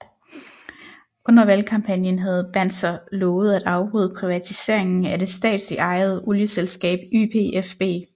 Under valgkampagnen havde Banzer lovet at afbryde privatiseringen af det statsligt ejede olieselskab YPFB